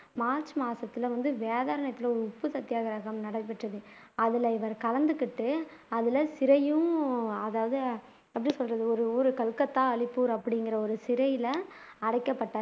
March மாசத்துல வந்து வேதாரண்யத்துல ஒரு உப்பு சத்தியாகிரகம் நடைபெற்றது அதுல இவர் கலந்துகிட்டு அதுல சிறையும் அதாவது எப்படி சொல்றது ஒரு ஊர் கல்கத்தா அலிப்பூர் அப்படிங்கிற ஒரு சிறையில அடைக்கப்பட்டாரு